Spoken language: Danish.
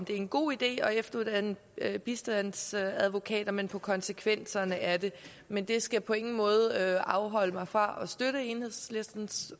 det er en god idé at efteruddanne bistandsadvokater men på konsekvenserne af det men det skal på ingen måde afholde mig fra at støtte enhedslistens